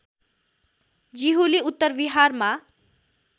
जिहुलि उत्तर विहारमा